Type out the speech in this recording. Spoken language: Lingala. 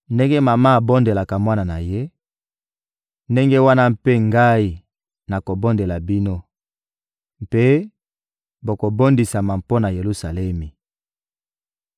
Ndenge mama abondelaka mwana na ye, ndenge wana mpe Ngai nakobondela bino; mpe bokobondisama mpo na Yelusalemi.»